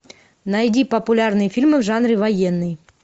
найди популярные фильмы в жанре военный